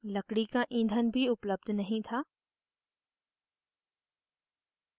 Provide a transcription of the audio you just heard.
लकड़ी का ईंधन भी उपलब्ध नहीं था